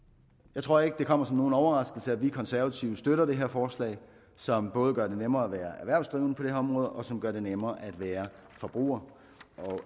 jeg tror ikke det kommer som nogen overraskelse at vi konservative støtter det her forslag som både gør det nemmere at være erhvervsdrivende på det her område og som gør det nemmere at være forbruger